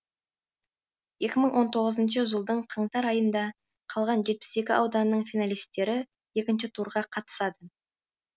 екі мың он тоғызыншы жылдың қаңтар айында қалған жетпіс екі ауданның финалистері екінші турға қатысады